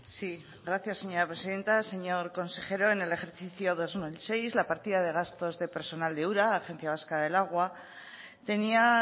sí gracias señora presidenta señor consejero en el ejercicio dos mil dieciséis la partida de gastos de personal de ura agencia vasca del agua tenía